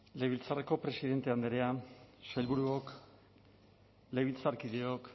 legebiltzarreko presidente andrea sailburuok legebiltzarkideok